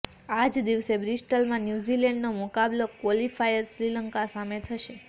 આ જ દિવસે બ્રિસ્ટલમાં ન્યૂઝીલેન્ડનો મુકાબલો ક્વોલિફાયર શ્રીલંકા સામે થશે